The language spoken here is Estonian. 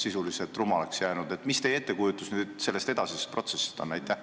Milline on teie ettekujutus sellest edasisest protsessist?